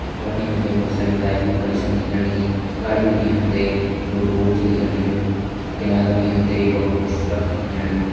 यफणि हम तैं बहुत सारी बाइक भी खड़ी छन दिखेण लगीं अगाड़ी बिटि हम तैं एक बडु बोर्ड छ दिखेण लग्युं और किनारा भी हम तैं एक बडू पोस्टर छ दिखेण लग्युं।